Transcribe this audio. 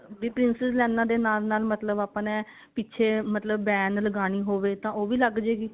ਵੀ princess ਲਾਈਨਾ ਦੇ ਨਾਲ ਨਾਲ ਮਤਲਬ ਆਪਾਂ ਨੇ ਪਿੱਛੇ ਮਤਲਬ van ਲਗਾਉਣੀ ਹੋਵੇ ਤਾਂ ਉਹ ਵੀ ਲੱਗਜੇਗੀ